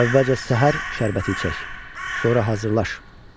Əvvəlcə səhər şərbəti içək, sonra hazırlaş.